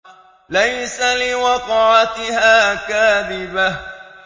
لَيْسَ لِوَقْعَتِهَا كَاذِبَةٌ